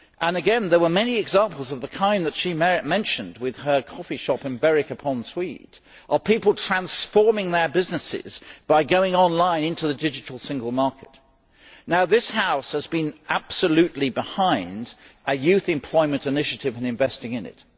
Again there were many examples of the kind that she mentioned with her coffee shop in Berwick upon Tweed of people transforming their businesses by going online into the digital single market. This House has been absolutely behind a youth employment initiative and investing in it.